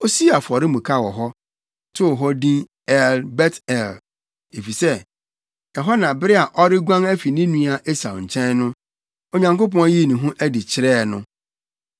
Osii afɔremuka wɔ hɔ, too hɔ din El-Bet-El, efisɛ ɛhɔ na bere a ɔreguan afi ne nua Esau nkyɛn no, Onyankopɔn yii ne ho adi kyerɛɛ no.